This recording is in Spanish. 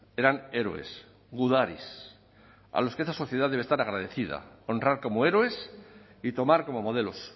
eran héroes gudaris a los que esta sociedad debe estar agradecida honrar como héroes y tomar como modelos